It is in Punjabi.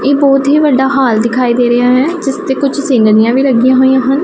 ਇਹ ਬਹੁਤ ਹੀ ਵੱਡਾ ਹਾਲ ਦਿਖਾਈ ਦੇ ਰਿਹਾ ਹੈ ਜਿਸ ਤੇ ਕੁਝ ਸੀਨੀਅਰੀਆਂ ਵੀ ਲੱਗੀਆਂ ਹੋਈਆਂ ਹਨ।